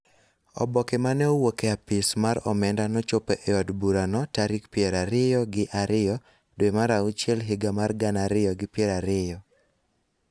Oboke ma ne owuok e Apis mar omenda nochopo e od burano tarik piero ariyo gi ariyo dwe mar auchiel higa mar gana ariyo gi piero ariyo,